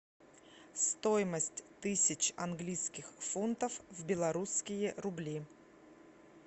стоимость тысяч английских фунтов в белорусские рубли